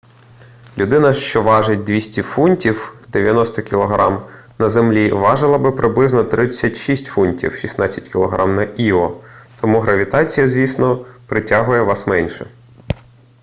людина що важить 200 фунтів 90 кг на землі важила би приблизно 36 фунтів 16 кг на іо. тому гравітація звісно притягує вас менше